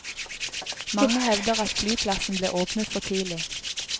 Mange hevder at flyplassen ble åpnet for tidlig.